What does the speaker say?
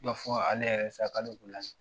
Ne b'a fɔ .